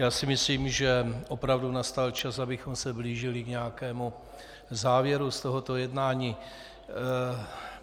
Já si myslím, že opravdu nastal čas, abychom se blížili k nějakému závěru z tohoto jednání.